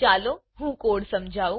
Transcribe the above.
ચાલો હું કોડ સમજાવુ